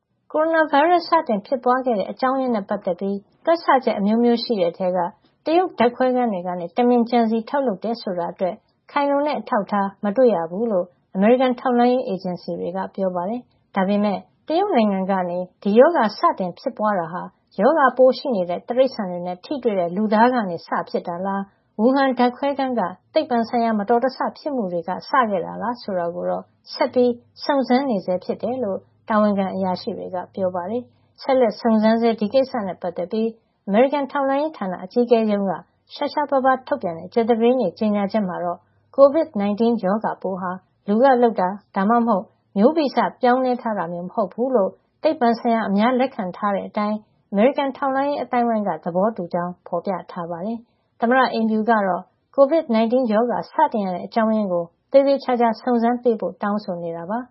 ကိုရိုနာဗိုင်းရပ်စ် စတင်ဖြစ်ပွါးတဲ့ အကြောင်းရင်းနဲ့ ပတ်သက်ပြီး တွက်ဆချက် အမျိုးမျိုး ရှိတဲ့ ထဲက တရုတ်ဓါတ်ခွဲခန်းကနေ တမင် ကြံစည် ထုတ်လုပ်ခဲ့တယ်ဆိုတာအတွက် ခိုင်လုံတဲ့ အထောက်ထား မတွေ့ရဘူးလို့ အမေရိကန် ထောက်လှန်းရေးအေဂျင်စီတွေက ပြောပါတယ်။ ဒါပေမယ့် တရုတ်နိုင်ငံကနေ ဒီရောဂါ စတင်ဖြစ်ပွါးတာဟာ ရောဂါပိုးရှိနေတဲ့ တိရိစ္ဆာန်တွေနဲ့ ထိတွေ့တဲ့ လူသားကနေစဖြစ်တာလား Wuhan ဓါတ်ခွဲခန်းက သိပ္ပံဆိုင်ရာ မတော်တဆ ဖြစ်မှုတွေ ကနေ စခဲ့တာလား ဆိုတာကိုတော့ ဆက်ပြီး စုံစမ်းစစ်ဆေးနေဆဲ ဖြစ်တယ်လို့ တာဝန်ခံ အရာရှိတွေက ပြောပါတယ်။ ဆက်လက်စုံစမ်းဆဲ ဒီကိစ္စနဲ့ ပတ်သက်ပြီး အမေရိကန် ထောက်လှန်းရေးဌာန အကြီးအကဲရုံးက ရှားရှားပါးပါး ထုတ်ပြန်တဲ့ ကြာသပတေးနေ့ ကြေညာချက်မှာတော့ COVID-19 ရောဂါပိုးဟာ လူကလုပ်တာ ဒါမှမဟုတ် မျိးဗီဇပြောင်းလဲထားတာမျိုး မဟုတ်ဖူးလို့ သိပ္ပံဆိုင်ရာ အများလက်ခံထား တဲ့အတိုင်း အမေရိကန် ထောက်လှန်းရေး အသိုင်းဝိုင်းက သဘောတူကြောင်း ဖေါ်ပြထားပါတယ်။ သမ္မတအိမ်ဖြူကတော့ Covid-19 ရောဂါ စတင်ရတဲ့ အကြောင်းရင်းကို သေသေချာချာ စုံစမ်းပေးဖို့ တောင်းဆိုနေပါ